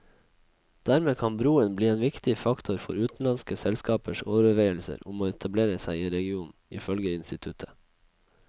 Dermed kan broen bli en viktig faktor for utenlandske selskapers overveielser om å etablere seg i regionen, ifølge instituttet.